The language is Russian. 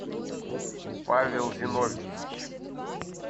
павел зиновьевич